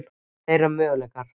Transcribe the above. Þeirra möguleikar?